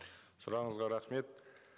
сұрағыңызға рахмет